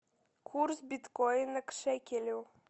курс биткоина к шекелю